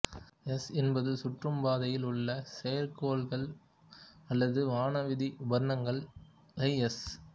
S என்பது சுற்றும் பாதையில் உள்ள செயற்கைகோள்கள் அல்லது வானவீதி உபகரணங்களை எஸ்